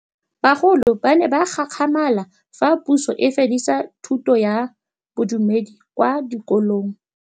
Bagolo ba ne ba gakgamala fa Pusô e fedisa thutô ya Bodumedi kwa dikolong.